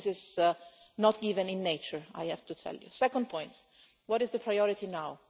This is not even in nature, I have to tell you. The second point what is the priority now?